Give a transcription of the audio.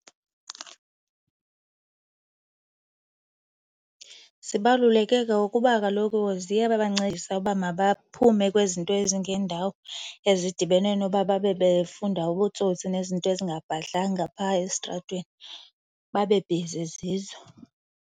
Zibaluleke ngokuba kaloku ziyabancedisa uba mabaphume kwizinto ezingeendawo ezidibene noba babe befunda ubutsotsi nezinto ezingabhadlanga phaa esitratweni babe bhizi zizo.